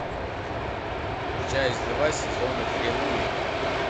часть два сезона три луи